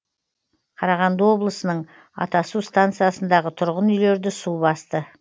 қарағанды облысының атасу станциясындағы тұрғын үйлерді су басты